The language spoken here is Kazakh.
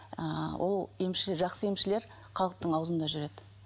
ыыы ол емшілер жақсы емшілер халықтың аузында жүреді